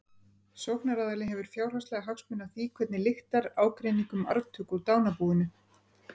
sóknaraðili hefur fjárhagslega hagsmuni af því hvernig lyktar ágreiningi um arftöku úr dánarbúinu